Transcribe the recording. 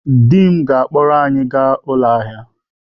Di m ga-akpọrọ anyị gaa ụlọ ahịa.